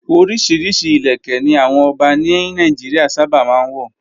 Oríṣiríṣi ìlẹ̀kẹ́ ni àwọn ọba ní Nàìjíríà sábà máa ń wọ̀.